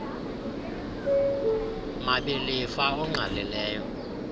mabi lifa ongqalileyo